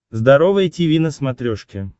здоровое тиви на смотрешке